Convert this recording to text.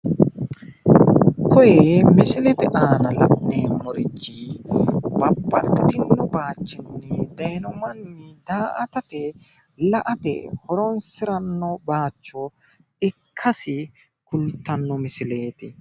Kunni misilete aanna la'nemorichi babbaxitino bayichinno dayino manni daa'atate la'ate horoonsorano bayicho ikkasi kultano misileeti.